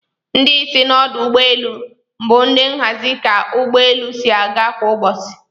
Ndi isi n'odụ ugbọ elụ bu ndi n'ahazi ka ugbọ elụ si aga kwa ubosi.